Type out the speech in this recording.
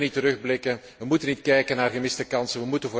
We moeten niet terugblikken, we moeten niet kijken naar gemiste kansen.